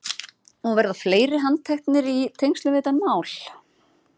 Og verða fleiri handteknir í tengslum við þetta mál?